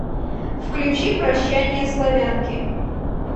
включи прощание славянки